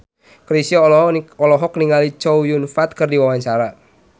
Chrisye olohok ningali Chow Yun Fat keur diwawancara